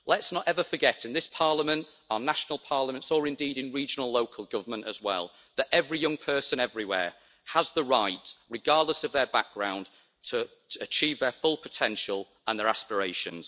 Let's not ever forget in this Parliament, our national parliaments, or indeed in regional local government as well, that every young person everywhere has the right, regardless of their background, to achieve their full potential and their aspirations.